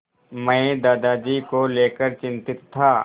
मैं दादाजी को लेकर चिंतित था